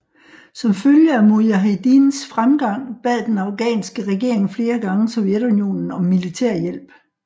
Som følge af mujahedins fremgang bad den afghanske regering flere gange Sovjetunionen om militærhjælp